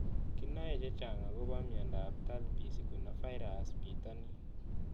Kinae chechang' akopo miondop Talipes equinovarus pitonin